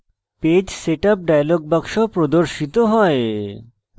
page setup dialog box প্রদর্শিত হয়